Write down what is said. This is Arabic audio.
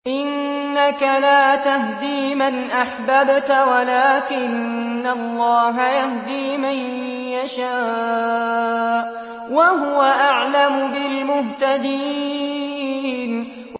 إِنَّكَ لَا تَهْدِي مَنْ أَحْبَبْتَ وَلَٰكِنَّ اللَّهَ يَهْدِي مَن يَشَاءُ ۚ وَهُوَ أَعْلَمُ بِالْمُهْتَدِينَ